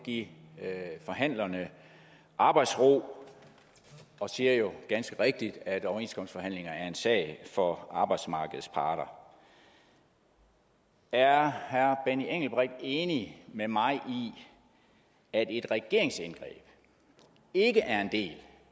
at give forhandlerne arbejdsro og siger ganske rigtigt at overenskomstforhandlinger er en sag for arbejdsmarkedets parter er herre benny engelbrecht enig med mig i at et regeringsindgreb ikke er en del